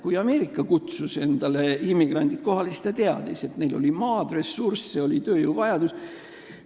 Kui Ameerika kutsus endale kunagi immigrante, siis ta teadis, et neil oli maad, oli ressurssi, oli tööjõu vajadus.